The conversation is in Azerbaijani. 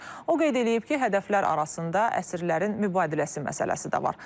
O qeyd eləyib ki, hədəflər arasında əsirlərin mübadiləsi məsələsi də var.